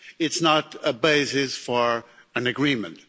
It's not a basis for an agreement.